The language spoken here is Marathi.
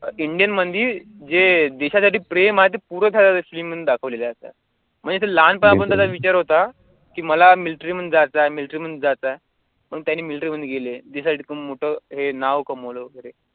indian म्हणजे जे देशासाठी प्रेम आहे ते पूरं film मध्ये दाखवलेलं आहे आता म्हणजे ते लहानपणापासून त्यांचा विचार होता, कि मला military मध्ये जायचयं military मध्ये जायचयं म्हणून त्यांनी military मध्ये गेले decide करून मोठं हे नाव कमावलं वैगरे